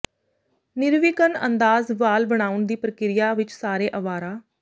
ਨਿਰਵਿਘਨ ਅੰਦਾਜ਼ ਵਾਲ ਬਣਾਉਣ ਦੀ ਪ੍ਰਕਿਰਿਆ ਵਿਚ ਸਾਰੇ ਅਵਾਰਾ